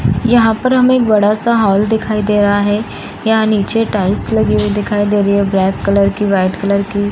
यहाँ पर हमें एक बड़ा सा हॉल दिखाई दे रहा है यहाँ नीचे टाइल्स लगी हुई दिखाई दे रही है ब्लैक कलर की वाइट कलर की।